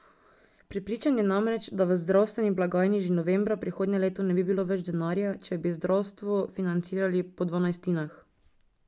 Prepričan je namreč, da v zdravstveni blagajni že novembra prihodnje leto ne bi bilo več denarja, če bi zdravstvo financirali po dvanajstinah.